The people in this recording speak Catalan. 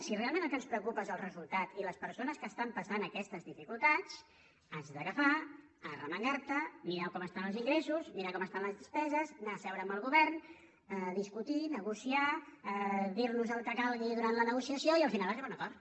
si realment el que ens preocupa són el resultat i les persones que estan passant aquestes dificultats has d’agafar arremangarte mirar com estan els ingressos mirar com estan les despeses anar a seure amb el govern discutir negociar dirnos el que calgui durant la negociació i al final arribar a un acord